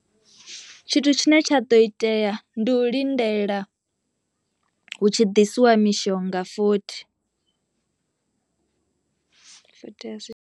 Tshithu tshine tsha ḓo itea ndi u lindela hu tshi ḓisiwa mishonga futhi .